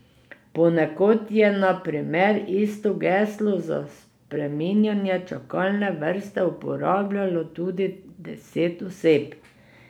Ponekod je na primer isto geslo za spreminjanje čakalne vrste uporabljalo tudi deset oseb.